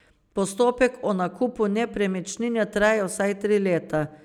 Postopek o nakupu nepremičnine traja vsaj tri leta.